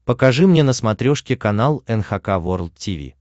покажи мне на смотрешке канал эн эйч кей волд ти ви